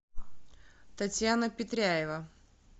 татьяна петряева